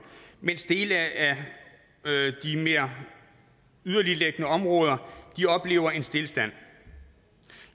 mens dele af de mere yderligtliggende områder oplever en stilstand